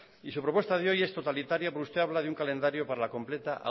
y su propuesta de hoy es totalitaria porque usted habla de un calendario para la completa